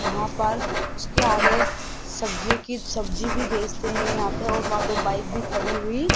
वहां पर उसके आगे सब्जियों की सब्जी भी बेचते हैं यहां पे और वहां दो बाइक भी खड़ी हुई --